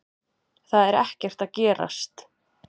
Það er ekkert að gerast.